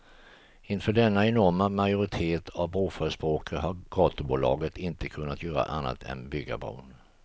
Inför denna enorma majoritet av broförespråkare har gatubolaget inte kunnat gör annat än att bygga bron.